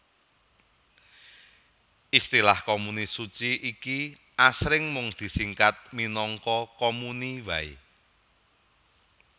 Istilah komuni suci iki asring mung disingkat minangka komuni waé